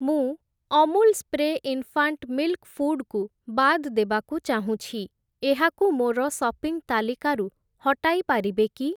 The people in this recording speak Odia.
ମୁଁ Amul spray infant milk food କୁ ବାଦ୍ ଦେବାକୁ ଚାହୁଁଛି, ଏହାକୁ ମୋର ସପିଂ ତାଲିକାରୁ ହଟାଇ ପାରିବେ କି?